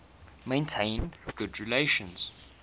maintained good relations